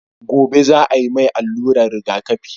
gobe za a mai alluran rigaƙafi